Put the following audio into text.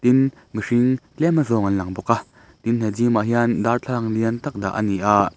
tin mihring tlem a zawng an lang bawk a tin he gym ah hian darthlalang lian tak dah a ni a--